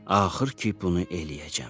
Axır ki, bunu eləyəcəm.